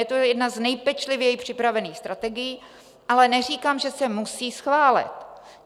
Je to jedna z nejpečlivěji připravených strategií, ale neříkám, že se musí schválit.